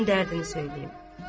Onun dərdini söyləyim.